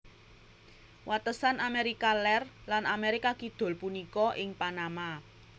Watesan Amérika Lèr lan Amérika Kidul punika ing Panama